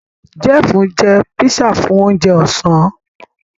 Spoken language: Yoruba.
Jeff njẹ pizza Fún oúnjẹ Ọ̀sán